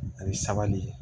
Ani sabali